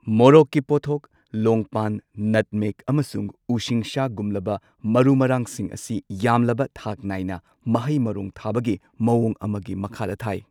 ꯃꯣꯔꯣꯛꯀꯤ ꯄꯣꯠꯊꯣꯛ, ꯂꯣꯡꯄꯥꯟ, ꯅꯠꯃꯦꯒ ꯑꯃꯁꯨꯡ ꯎꯁꯤꯡꯁꯥꯒꯨꯝꯂꯕ ꯃꯔꯨ ꯃꯔꯥꯡꯁꯤꯡ ꯑꯁꯤ ꯌꯥꯝꯂꯕ ꯊꯥꯛ ꯅꯥꯢꯅ ꯃꯍꯩ ꯃꯔꯣꯡ ꯊꯥꯕꯒꯤ ꯃꯋꯣꯡ ꯑꯃꯒꯤ ꯃꯈꯥꯗ ꯊꯥꯏ꯫